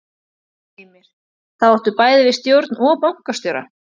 Heimir: Þá áttu bæði við stjórn og bankastjóra?